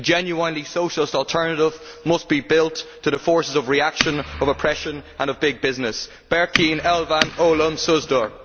A genuinely Socialist alternative must be built to the forces of reaction, of oppression and big business. Berkin Elvan Ölümsüzdür!